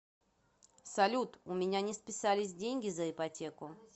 салют у меня не списались деньги за ипотеку